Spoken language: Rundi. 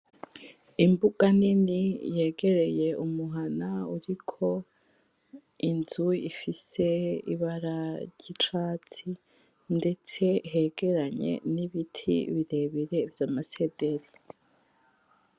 Imbuga nini yegereye umuhana uriko inzu ifise ibara ryicatsi ndetse hegeranye nibiti birebire vyamasederi